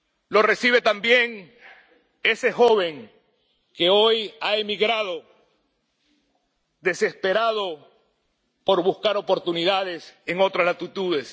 Lo recibe también ese joven que hoy ha emigrado desesperado por buscar oportunidades en otras latitudes.